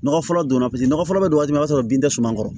Nɔgɔ fɔlɔ donna paseke nɔgɔ fɔlɔ bɛ don o b'a sɔrɔ bin tɛ suman kɔrɔ